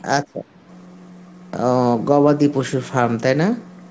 আচ্ছা, ও গবাদি পশুর farm তাই না?